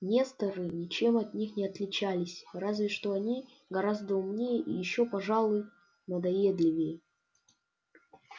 несторы ничем от них не отличались разве что они гораздо умнее и ещё пожалуй надоедливее